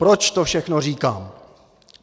Proč to všechno říkám.